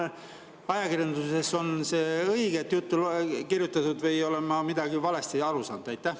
Kas ajakirjanduses on õiget juttu kirjutatud või olen ma millestki valesti aru saanud?